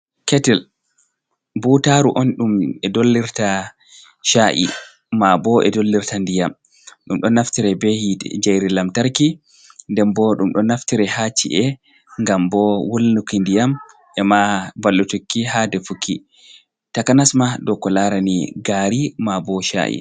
Ketil, butaru on ɗum e dollirta sha’i, ma bo e dollirta ndiyam. Ɗum do naftira ɓe njayri lantarki nɗen bo ɗum ɗo naftira ha ci’e ngam bo wulnuki ndiyam e ma ballutukki ha defuki, takanasma e ko larani gari ma bo sha’i.